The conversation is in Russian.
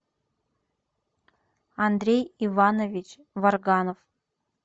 андрей иванович варганов